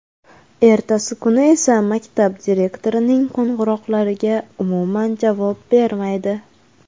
Ertasi kuni esa maktab direktorining qo‘ng‘iroqlariga umuman javob bermaydi.